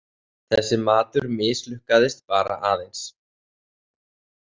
Þessi matur mislukkaðist bara aðeins.